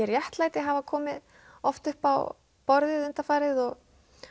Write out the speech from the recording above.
réttlæti hafa komið oft upp á borðið undanfarið og